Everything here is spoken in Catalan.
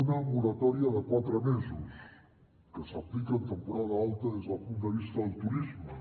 una moratòria de quatre mesos que s’aplica en temporada alta des del punt de vista del turisme